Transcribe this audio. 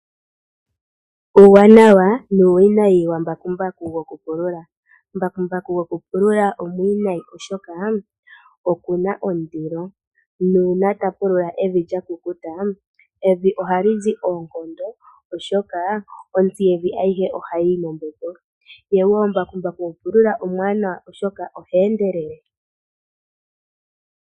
Uuwanawa nuuwinayi wambakumbaku gokupulula. Mbakumbaku gokupulula omuwinayi, oshoka oku na ndilo nuuna ta pulula evi lya kukuta, evi ohali zi oonkondo, oshoka ontsi yevi ohayi yi mombepo. Mbakumbaku gokupulula omuwanawa, oashoka oha endelele.